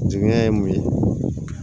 Jigiɲɛ ye mun ye